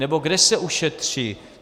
Nebo kde se ušetří?